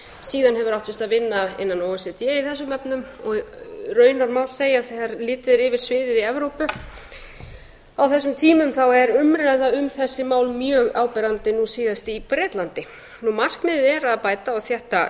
síðan hefur átt sér stað vinna innan o e c d í þessum efnum og raunar má segja þegar litið er yfir sviðið í evrópu á þessum tímum þá er umræða um þessi mál mjög áberandi nú síðast í bretlandi markmiðið er að bæta og þétta